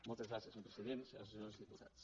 moltes gràcies senyor president senyors i senyores diputats